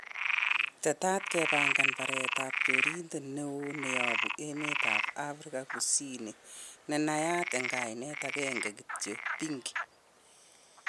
Teta kepangan baret ab chorindet newon neyobu emetab Afrika kusini nenayat en Kainet ageng'e kityok 'pinky'.